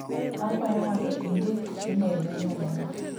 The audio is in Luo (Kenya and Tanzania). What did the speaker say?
Akwayo mondo indiki imel ne nyaminwa.